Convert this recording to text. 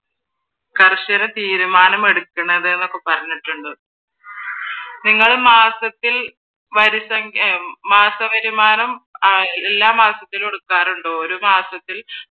കർശന തീരുമാനം എടുക്കുന്നത് എന്നൊക്കെ പറഞ്ഞിട്ടുണ്ട്. നിങ്ങൾ മാസത്തിൽ മാസവരുമാനം എല്ലാ മാസത്തിലും എടുക്കാറുണ്ടോ? ഒരു മാസത്തിൽ